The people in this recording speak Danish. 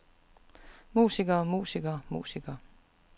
musikere musikere musikere